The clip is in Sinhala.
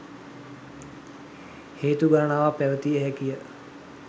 හේතු ගණනාවක් පැවතිය හැකිය.